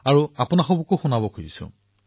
মই শুনিছো মই ভাবো আপোনালোককো শুনাও